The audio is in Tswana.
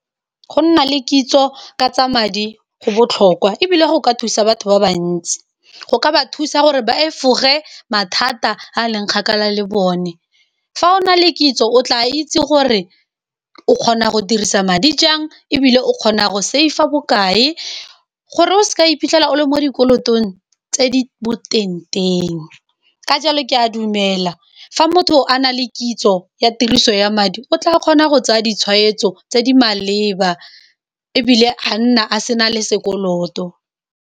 Go nna le kitso ka tsa madi go botlhokwa e bile go ka thusa batho ba bantsi go ka ba thusa gore ba efoge mathata a leng kgakala le bone fa o na le kitso o tla itse gore o kgona go dirisa madi jang e bile o kgona go save-a bokae, gore o seka iphitlhela o le mo dikolotong tse di boteng teng, ka jalo ke a dumela fa motho a na le kitso ya tiriso ya madi o tla kgona go tsaya ditshwetso tse di maleba e bile a nna a sena le sekoloto.